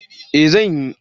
Eh, zan yi.